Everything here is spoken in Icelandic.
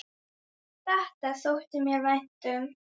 Þetta þótti mér vænt um.